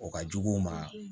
O ka jugu u ma